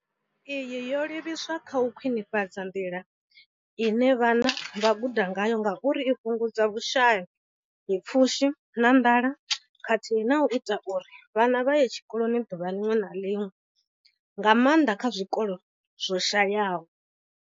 Iyi yo livhiswa kha u khwinifhadza nḓila ine vhana vha guda ngayo nga uri i fhungudza vhushayapfushi na nḓala khathihi na u ita uri vhana vhaye tshikoloni ḓuvha ḽiṅwe na ḽiṅwe, nga maanḓa kha zwikolo zwo shayaho.